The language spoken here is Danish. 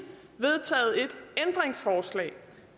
vedtaget et ændringsforslag